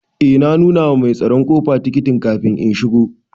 Eh na nuna ma mai tsaron ƙofa tikitin kafin in shigo.